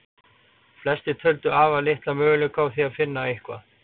Flestir töldu afar litla möguleika á því finna eitthvað.